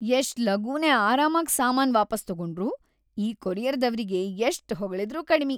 ಎಷ್ಟ್‌ ಲಗೂನೇ ಆರಾಮಾಗ್ ಸಾಮಾನ್‌ ವಾಪಾಸ್‌ ತೊಗೊಂಡ್ರು; ಈ ಕೊರಿಯರ್‌ದವ್ರಿಗಿ ಎಷ್ಟ್‌ ಹೊಗಳಿದ್ರೂ ಕಡಿಮಿ.